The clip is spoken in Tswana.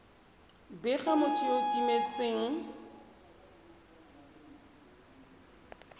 bega motho yo o timetseng